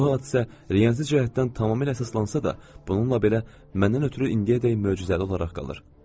Bu hadisə realistik cəhətdən tamamilə əsaslansa da, bununla belə məndən ötrü indiyədək möcüzəli olaraq qalır.